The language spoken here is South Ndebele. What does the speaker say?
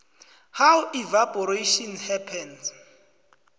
how evaporation happens